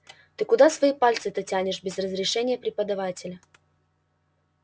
ты куда свои пальцы-то тянешь без разрешения преподавателя